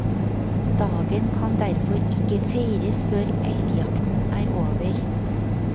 Dagen kan derfor ikke feires før elgjakten er over.